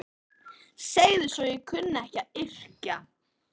Segðu svo að ég kunni ekki að yrkja!